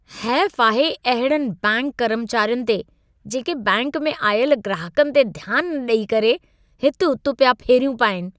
हैफ़ आहे अहिड़नि बैंक कर्मचारियुनि ते जेके बैंक में आयल ग्राहकनि ते ध्यान न ॾेई करे हित-हुत पिया फेरियूं पाईनि।